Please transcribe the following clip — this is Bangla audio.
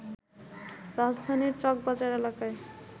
রাজধানীর চকবাজার এলাকায়